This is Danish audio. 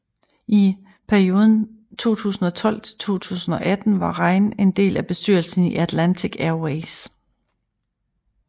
I perioden 2012 til 2018 var Rein en del af bestyrelsen i Atlantic Airways